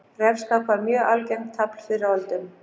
Refskák var mjög algengt tafl fyrr á öldum.